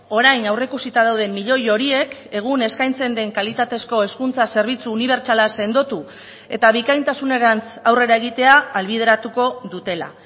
orain aurreikusita dauden milioi horiek egun eskaintzen den kalitatezko hezkuntza zerbitzu unibertsala sendotu eta bikaintasunerantz aurrera egitea ahalbideratuko dutela